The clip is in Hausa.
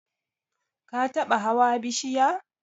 Ka taba hawa bishiya?